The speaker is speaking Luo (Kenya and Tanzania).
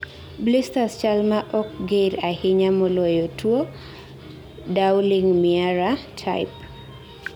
blisters chalma ok ger ahinya maloyo tuo Dowling-Meara type